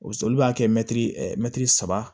O olu b'a kɛ mɛtiri mɛtiri saba